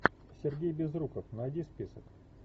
сергей безруков найди список